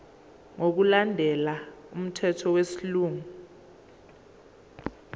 ngokulandela umthetho wesilungu